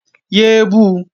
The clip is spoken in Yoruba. Yé é bu!